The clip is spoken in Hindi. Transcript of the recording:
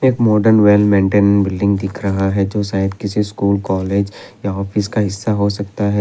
एक मॉडर्न वेल मेंटेन बिल्डिंग दिख रहा है जो शायद किसी स्कूल कॉलेज या ऑफिस का हिस्सा हो सकता है।